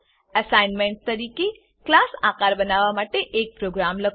assignment તરીકે class આકાર બનાવવા માટે એક પ્રોગ્રામ લખો